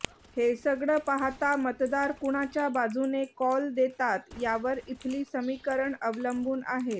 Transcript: हे सगळं पाहता मतदार कुणाच्या बाजूने कौल देतात यावर इथली समीकरणं अवलंबून आहेत